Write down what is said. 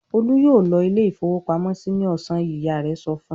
"Olú yóò lọ ilé-ìfowópamọ́sí ní ọ̀sán yìí!" Ìyá rẹ̀ sọ fún un.